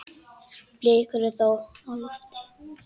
Blikur eru þó á lofti.